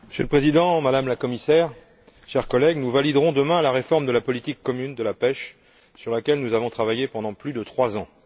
Monsieur le Président, Madame la Commissaire, chers collègues, nous validerons demain la réforme de la politique commune de la pêche, sur laquelle nous avons travaillé pendant plus de trois ans.